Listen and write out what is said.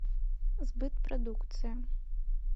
сбыт продукции